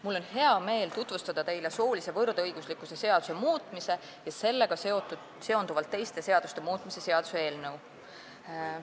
Mul on hea meel tutvustada teile soolise võrdõiguslikkuse seaduse muutmise ja sellega seonduvalt teiste seaduste muutmise seaduse eelnõu.